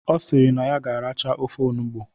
Ọ sịrị na ya ga-aracha ofe onugbu